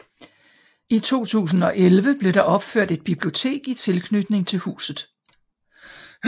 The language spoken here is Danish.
I 2011 blev der opført et bibliotek i tilknytning til huset